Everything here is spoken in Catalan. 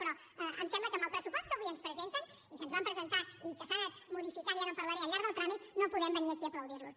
però em sembla que amb el pressupost que avui ens presenten i que ens van presentar i que s’ha anat modificant i ara en parlaré al llarg del tràmit no podem venir aquí a aplaudir los